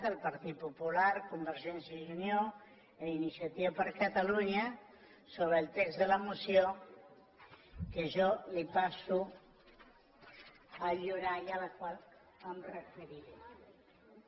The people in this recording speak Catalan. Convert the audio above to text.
el partit popular convergència i unió i iniciativa per catalunya sobre el text de la moció que jo li passo a lliurar i a la qual em referiré